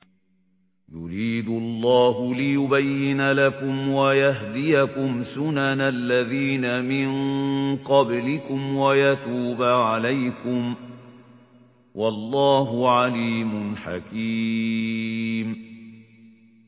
يُرِيدُ اللَّهُ لِيُبَيِّنَ لَكُمْ وَيَهْدِيَكُمْ سُنَنَ الَّذِينَ مِن قَبْلِكُمْ وَيَتُوبَ عَلَيْكُمْ ۗ وَاللَّهُ عَلِيمٌ حَكِيمٌ